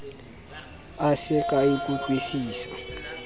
a se ke a ikutlwusisa